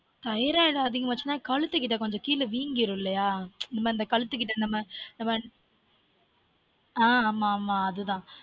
Thyroid அதிகமா ஆச்சுனா கழுத்து கிட்ட கொஞ்சம் கீழ வீங்கிடும் இல்லயா இந்த மாதிரி கழுத்து கிட்ட நம்ம